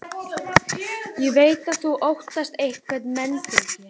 Ég veit að þú óttast einhverja meinbugi.